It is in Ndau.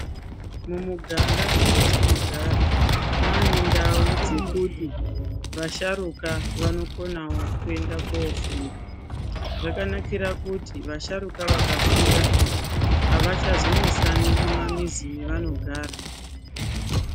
Mumiganga matinogara mane ndau dzekuti vasharuka vanokonawo kuenda kofunda, zvakanakira kuti vasharuka vakafunda avachazonesani mumamizi mevanogara.